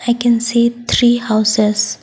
i can see three houses.